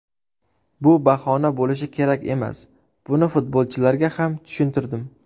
Bu bahona bo‘lishi kerak emas, buni futbolchilarga ham tushuntirdim.